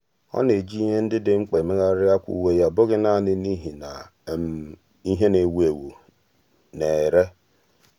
há họ̀ọ̀rọ̀ árị́à ụ́lọ̀ osisi siri ike nà-ákwàdò ị́dị́tè áká kàrị́a usoro iméwé nà-adị́tè áká.